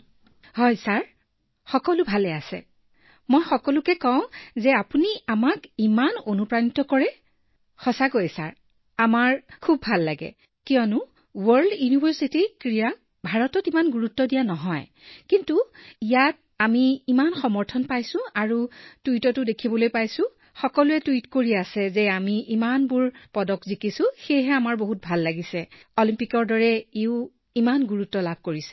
প্ৰিয়ংকাঃ হয় ছাৰ সকলো ঠিকেই আছে মই সকলোকে কৈছো যে আপুনি আমাক ইমান প্ৰেৰণা দিয়ে সঁচাকৈয়ে ছাৰ মোৰ বৰ ভাল লাগিছে কাৰণ ভাৰতত বিশ্ব বিশ্ববিদ্যালয়ৰ দৰে গেমৰ বাবেও বেছি চাহিদা নাই তাৰ বিষয়ে ইয়াত কোনেও নোসোধে কিন্তু এতিয়া আমি এই খেলখনত ইমান সমৰ্থন পাইছো তাৰ অৰ্থ এইটোও যে আমি টুইট দেখিছো যে সকলোৱে টুইট কৰি আছে যে আমি ইমানবোৰ পদক লাভ কৰিছো গতিকে অলিম্পিকৰ দৰে এইটোও ইমান উদ্গনি পোৱাটো অতি ভাল অনুভৱ হৈছে